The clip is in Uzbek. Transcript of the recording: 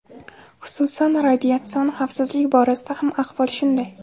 Xususan, radiatsion xavfsizlik borasida ham ahvol shunday.